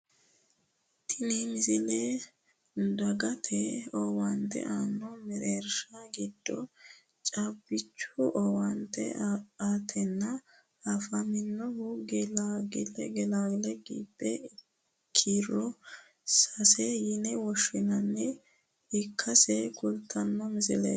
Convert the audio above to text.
tini misile dagate owaante aanno mereershi giddo caabbichu owaante aatenni afaminoha gilgeli gibe kiiro sase yine woshshinanniha ikkasi kultanno misleeti